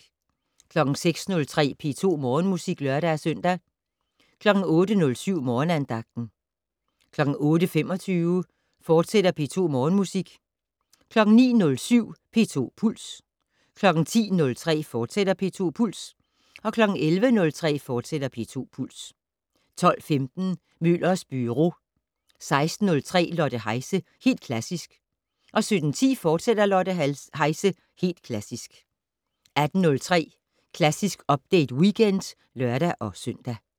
06:03: P2 Morgenmusik (lør-søn) 08:07: Morgenandagten 08:25: P2 Morgenmusik, fortsat 09:07: P2 Puls 10:03: P2 Puls, fortsat 11:03: P2 Puls, fortsat 12:15: Møllers Byro 16:03: Lotte Heise - Helt Klassisk 17:10: Lotte Heise - Helt Klassisk, fortsat 18:03: Klassisk Update Weekend (lør-søn)